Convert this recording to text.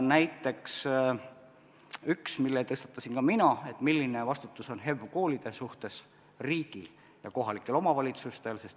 Näiteks üks teema, mille tõstatasin ka mina: milline vastutus on HEV-koolide suhtes riigil ja kohalikel omavalitsustel.